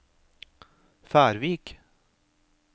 Færvik